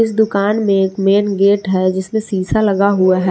इस दुकान में एक मेन गेट है जिसमें सीसा लगा हुआ है।